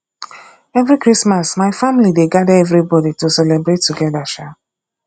every christmas my family dey gada everybodi to celebrate together um